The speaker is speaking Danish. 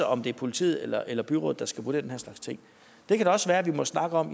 om det er politiet eller eller byrådet der skal vurdere den her slags ting det kan da også være at vi må snakke om